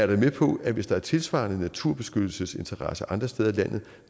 da med på at hvis der er tilsvarende naturbeskyttelsesinteresser andre steder i landet